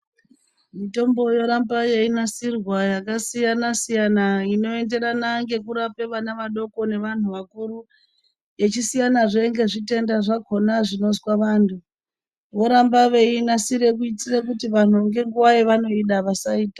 Mitombo yoramba yeinasirwa yakasiyana siyana inoenderana ngekurape vana vadoko nevantu vakuru yechisiyana zvee ngezvitenda zvakona zvinozwa vantu, voramba veiinasire kuitire kuti vantu ngenguwa yavanoida vasaitama.